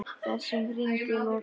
Þessum hring er lokið.